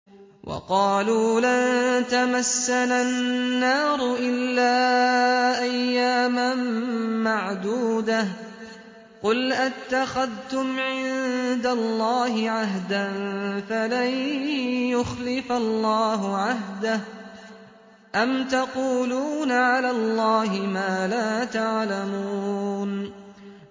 وَقَالُوا لَن تَمَسَّنَا النَّارُ إِلَّا أَيَّامًا مَّعْدُودَةً ۚ قُلْ أَتَّخَذْتُمْ عِندَ اللَّهِ عَهْدًا فَلَن يُخْلِفَ اللَّهُ عَهْدَهُ ۖ أَمْ تَقُولُونَ عَلَى اللَّهِ مَا لَا تَعْلَمُونَ